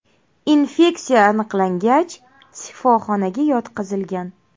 Infeksiya aniqlangach, shifoxonaga yotqizilgan.